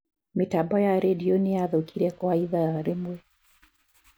Mĩtambo ya redio nĩyathukire kwa ithaa rĩmwe.